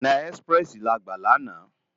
Òná èsipirèsi lá gbá làná